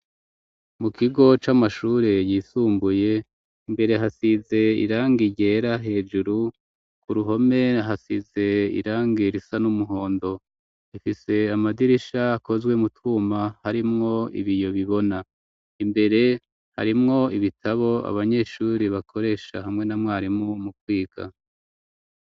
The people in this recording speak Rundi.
Mu kigo c'amashure, yisumbuye, imbere hasize, irangi ryera hejuru, ku ruhome hasize, irangi risa n'umuhondo; rifise amadirisha, akozwe mu twuma, harimwo ibiyo bibona; imbere harimwo ibitabo, abanyeshuri bakoresha, hamwe na mwarimu, mu kwiga.